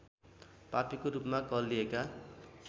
पापीको रूपमा कहलिएका